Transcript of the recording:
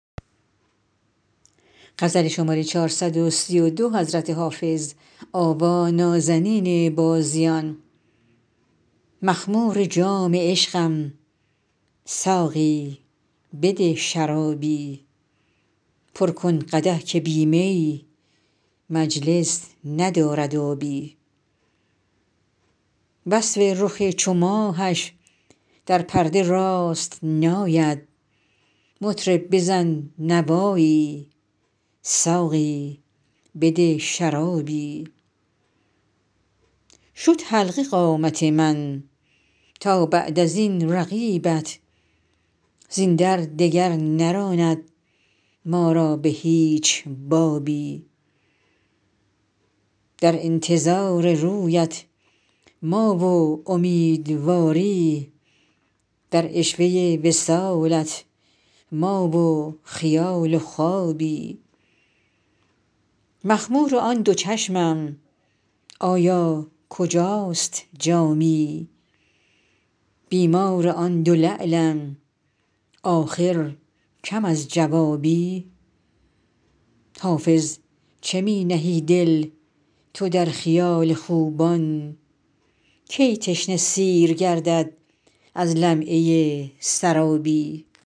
مخمور جام عشقم ساقی بده شرابی پر کن قدح که بی می مجلس ندارد آبی وصف رخ چو ماهش در پرده راست نآید مطرب بزن نوایی ساقی بده شرابی شد حلقه قامت من تا بعد از این رقیبت زین در دگر نراند ما را به هیچ بابی در انتظار رویت ما و امیدواری در عشوه وصالت ما و خیال و خوابی مخمور آن دو چشمم آیا کجاست جامی بیمار آن دو لعلم آخر کم از جوابی حافظ چه می نهی دل تو در خیال خوبان کی تشنه سیر گردد از لمعه سرابی